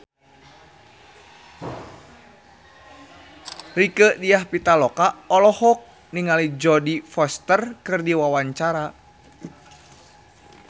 Rieke Diah Pitaloka olohok ningali Jodie Foster keur diwawancara